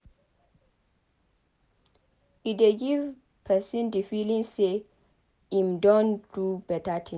E dey give person di feeling sey im don do better thing